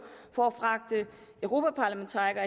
for at fragte europaparlamentarikere